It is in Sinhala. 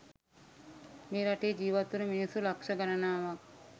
මේ රටේ ජීවත්වන මිනිස්සු ලක්ෂ ගණනාවක්